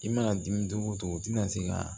I mana dimi cogo o cogo i tɛna se ka